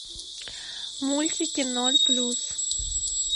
мультики ноль плюс